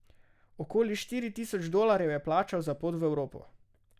Okoli štiri tisoč dolarjev je plačal za pot v Evropo.